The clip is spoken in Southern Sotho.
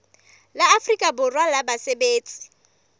la afrika borwa la basebetsi